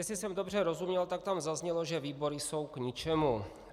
Jestli jsem dobře rozuměl, tak tam zaznělo, že výbory jsou k ničemu.